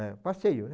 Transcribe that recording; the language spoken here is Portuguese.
É, passeio, né?